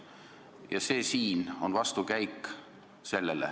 Ja see siin on vastukäik.